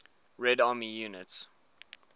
red army units